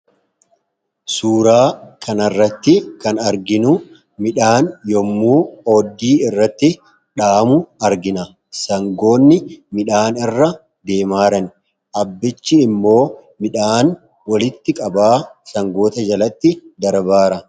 suuraa kana irratti kan arginu midhaan yommuu oobdii irratti dhahamu argina. sangoonni midhaan irra deemaa jiran abbichi immoo midhaan walitti qabaa sangoota jalatti darbaa jira.